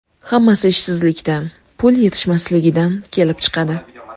Hammasi ishsizlikdan, pul yetishmasligidan kelib chiqadi.